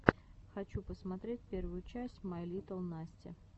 хочу посмотреть первую часть май литтл насти